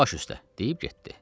Baş üstə deyib getdi.